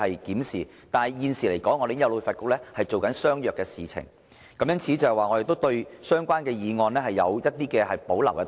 但是，就現時來說，我們已經有旅發局做相若的事情，因此我們對相關修正案有保留。